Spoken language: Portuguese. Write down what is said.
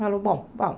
Falou, bom, vamos.